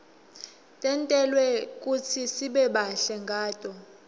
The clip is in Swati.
tentelwe kutsisibe bahle ngato